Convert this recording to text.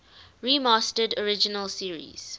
remastered original series